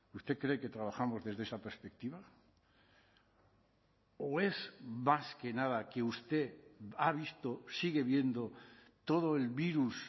usted cree que trabajamos desde esa perspectiva o es más que nada que usted ha visto sigue viendo todo el virus